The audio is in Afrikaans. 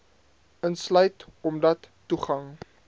insluit omdat toegang